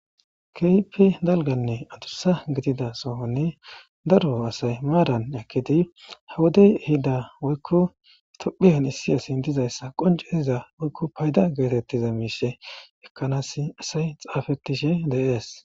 kehipe dalganne atussa gidida sohonne daro asay maaran ekidi hawodey ehida woykko tophiyan issi asin dizayssa qonceiza woykko payda geetettiza miishe ekkanas asay xaafetishe deees